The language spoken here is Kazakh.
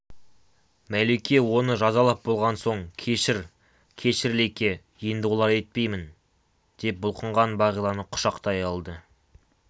мәлике оны жазалап болған соң кешір кешір лике енді олай етпеймін деп бұлқынған бағиланы құшақтай алды